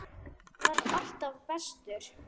Hann var alltaf bestur.